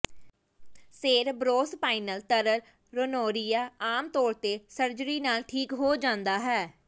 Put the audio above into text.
cerebrospinal ਤਰਲ rhinorrhea ਆਮ ਤੌਰ ਤੇ ਸਰਜਰੀ ਨਾਲ ਠੀਕ ਹੋ ਜਾਂਦਾ ਹੈ